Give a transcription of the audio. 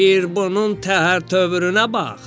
Bir bunun təhər-tövrünə bax!